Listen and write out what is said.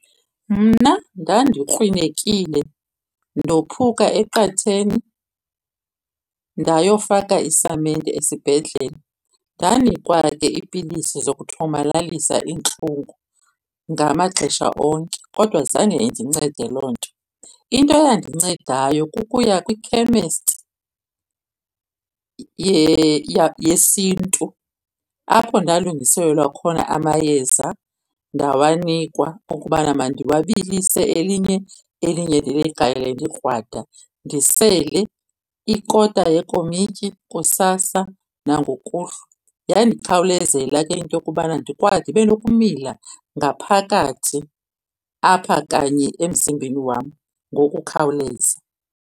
Mna ndandikrwinekile, ndophuka eqatheni, ndayofaka isamente esibhedlele. Ndanikwa ke iipilisi zokuthomalalisa iintlungu ngamaxesha onke, kodwa zange indincede loo nto. Into eyandincedayo kukuya kwikhemesti yesiNtu apho ndalungiselelwa khona amayeza ndawanikwa ukubana mandiwabilise elinye, elinye ndiligalele likrwada, ndisele ikota yekomityi kusasa nangokuhlwa. Yandikhawulezela ke into yokubana ndibe nokumila ngaphakathi apha kanye emzimbeni wam ngokukhawuleza.